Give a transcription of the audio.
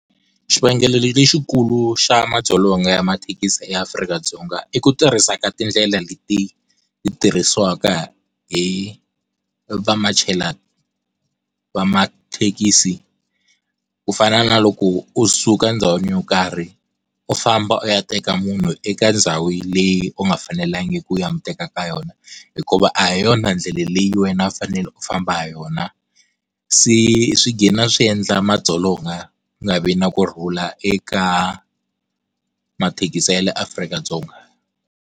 Xivangelo lexikulu xa madzolonga ya mathekisi eAfrika-Dzonga i ku tirhisa ka tindlela leti ti tirhisiwaka hi va machela va mathekisi ku fana na loko u suka ndhawini yo karhi u famba u ya teka munhu eka ndhawu leyi u nga fanelangiki u ya mu teka ka yona hikuva a hi yona ndlela leyi wena u fanele u famba hi yona se swi swi endla madzolonga ku nga vi na kurhula eka mathekisa ya le Afrika-Dzonga.